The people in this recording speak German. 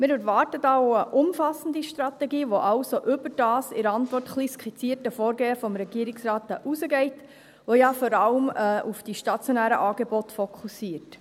Wir erwarten da auch eine umfassende Strategie, die also über das in der Antwort etwas skizzierte Vorgehen des Regierungsrates hinausgeht, das ja vor allem auf die stationären Angebote fokussiert.